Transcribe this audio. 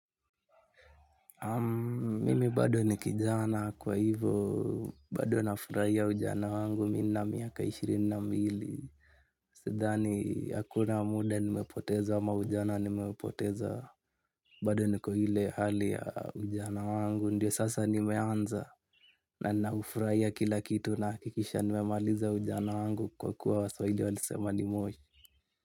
Mimi bado ni kijana kwa hivyo bado nafurahia ujana wangu nina miaka ishirini na mbili. Sidhani hakuna muda nimepoteza ama ujana nimepoteza bado niko ile hali ya ujana wangu. Ndio sasa nimeanza ninaufrahia kila kitu nahakikisha nimemaliza ujana wangu kwa kuwa waswahili walisema ni moshi.